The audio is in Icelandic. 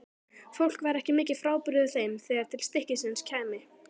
Fólk væri ekki mikið frábrugðið þeim þegar til stykkisins kæmi.